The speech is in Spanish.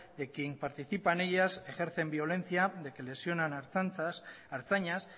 de quién participa en ellas ejercen violencia de que lesionan a ertzaintzas a ertzainak